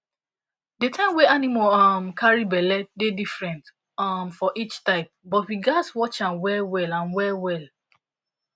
the time wey animal carry um belle dey different um for each type but we gatz watch am well well am well well